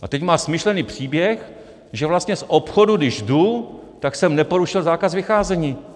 A teď má smyšlený příběh, že vlastně z obchodu když jdu, tak jsem neporušil zákaz vycházení.